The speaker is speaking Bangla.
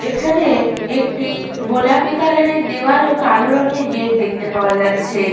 এখানে একটি গোলাপি কালার -এর দেওয়াল ও কালো রঙের গেট দেখতে পাওয়া যাচ্ছে-এ।